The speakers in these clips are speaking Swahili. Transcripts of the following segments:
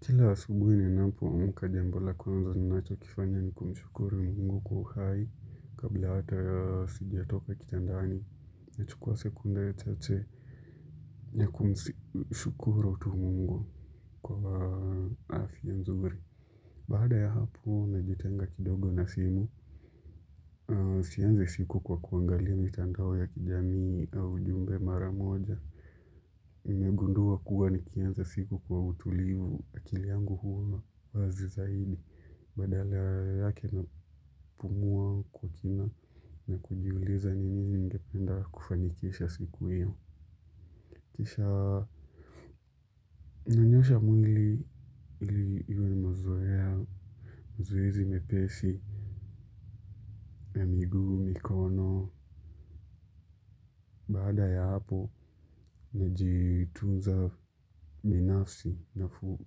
Kila asubuhi ninapoamka jambo la kwanza ninacho kifanya ni kumshukuru mungu kwa uhai kabla hata sijatoka kitandani, nachukua sekunda ya tete ya kumshukuru tu Mungu kwa afya mzuri. Baada ya hapo, najitenga kidogo na simu, sianzi siku kwa kuangalia mitandao ya kijamii au ujumbe mara moja. Nimegundua kuwa nikianza siku kwa utulivu akili yangu huwa wazi zaidi. Badala yake napumua kwa kina na kujiuliza ni nini ningependa kufanikisha siku hiyo. Kisha nanyosha mwili ili iwe mazoea, mazoezi mepesi na miguu, mikono, baada ya hapo najitunza binafsi na fua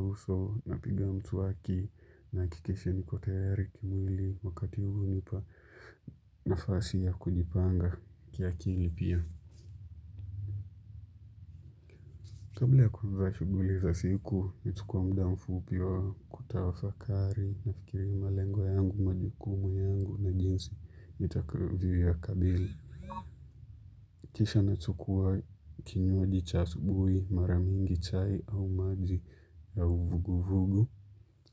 uso napiga mswaki na hakikisha niko tayari kimwili. Wakati huu hunipa nafasi ya kujipanga kiakili pia. Kabla ya kufuza shughuli za siku, nichukua muda mfupi wa kutawafakari, nafikiri malengo yangu, majukumu yangu, na jinsi nitakavyo ya kabili. Kisha nachukua kinywaji cha asubui, mara mingi chai au maji au vuguvugu.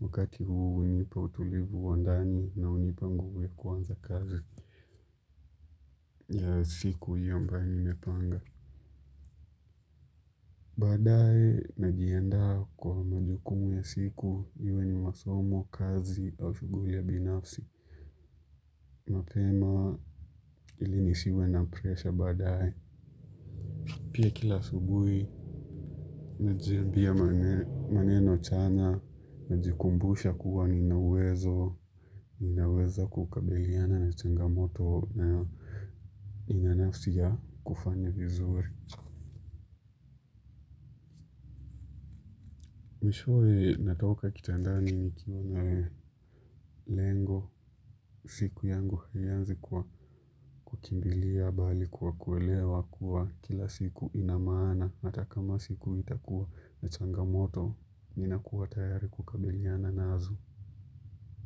Wakati huu hunipa utulivu wa ndani na hunipa nguvu ya kuanza kazi ya siku hiyo mbayo nimepanga. Baadaye, najiandaa kwa majukumu ya siku, iwe ni masomo, kazi, au shughuli ya binafsi. Mapema ili nisiwe na presha baadaye. Pia kila asubuhi, najiambia maneno chanya, najikumbusha kuwa nina uwezo, ninaweza kukabiliana na changamoto na nina nafasi ya kufanya vizuri. Mwishowe natoka kitandani nikiwa na lengo siku yangu haianzi kwa kukimbilia bali kwa kuelewa kuwa kila siku ina maana hata kama siku itakuwa na changamoto ninakuwa tayari kukabiliana nazo.